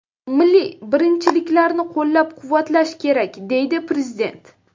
Milliy birinchiliklarni qo‘llab-quvvatlash kerak”, - deydi prezident.